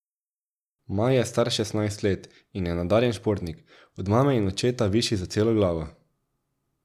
Maj je star šestnajst let in je nadarjen športnik, od mame in očeta višji za celo glavo.